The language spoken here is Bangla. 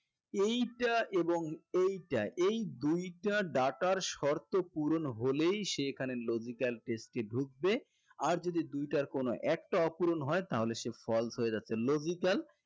এইটা এবং এইটা এই দুইটা ডাটার শর্ত পূরণ হলেই সে এখানে logical test এ ঢুকবে আর যদি দুইটার কোনো একটা অপূরণ হয় তাহলে সে false হয়ে যাচ্ছে logical